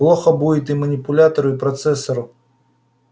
плохо будет и манипулятору и процессору